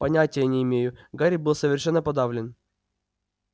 понятия не имею гарри был совершенно подавлен